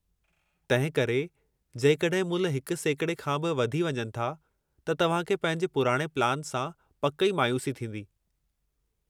तंहिं करे, जेकॾहिं मुल्ह 1 सेकड़े खां बि वधी वञनि था त तव्हां खे पंहिंजे पुराणे प्लान सां पकि ई मायूसी थींदी।